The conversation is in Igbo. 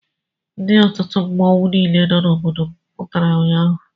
Ndị otu mmọnwụ niile nọ n'obodo m pụtara ụnyaahụ.